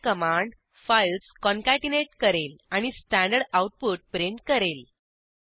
cat command files concatenate करेल आणि standard output print करेल